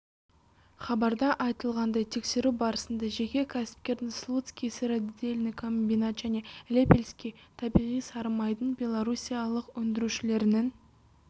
хабарда айтылғандай тексеру барысында жеке кәсіпкердің слуцкий сыродельный комбинат және лепельский табиғи сары майдың беларуссиялық өндірушілерінің